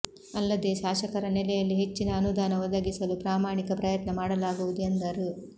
ಅಲ್ಲದೇ ಶಾಸಕರ ನೆಲೆಯಲ್ಲಿ ಹೆಚ್ಚಿನ ಅನುದಾನ ಒದಗಿಸಲು ಪ್ರಾಮಾಣಿಕ ಪ್ರಯತ್ನ ಮಾಡಲಾಗುವುದು ಎಂದರು